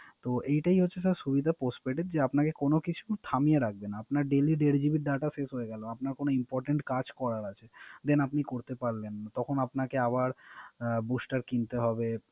তো এইটাই হচ্ছে স্যার সুবিধা Postpaid এর যে আপনারেক কোন কিছু থামিয়ে রাখবে। আপনার Daily দেড় GB data শেষ হয়ে গেল। আপনার কোন Important কাজ করার আছে। Then আপনি করতে পারলেন। তখন আপনাকে আবার Booster কিনতে হবে